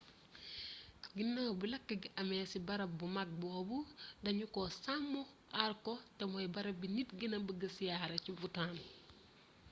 ginaaw bi lakk gi amee ci barab bu màgg boobu dañu ko sàmm aar ko te mooy barab bi nit gëna bëgga siyaare ci bhoutan